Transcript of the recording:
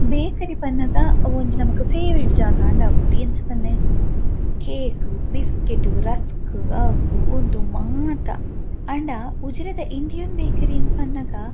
bakery ಪನ್ನಗ ಅವೊಂಜಿ ನಮಕ್ ಫೇವರೇಟ್ ಜಾಗಾಂದ್ ಆಪುಂಡು ಎಂಚ ಪನ್ಲೆ ಕೇಕ್ ಬಿಸ್ಕಿಟ್ ರಸ್ಕ್ ಅವು ಉಂದು ಮಾತ ಆಂಡ ಉಜಿರೆದ ಇಂಡಿಯನ್ ಬೇಕರಿ ಇಂದ್ ಪನ್ನಗ--